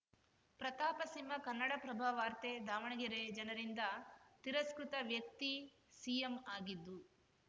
ಪ್ರತಾಪ ಸಿಂಹ ಕನ್ನಡಪ್ರಭ ವಾರ್ತೆ ದಾವಣಗೆರೆ ಜನರಿಂದ ತಿರಸ್ಕೃತ ವ್ಯಕ್ತಿ ಸಿಎಂ ಆಗಿದ್ದು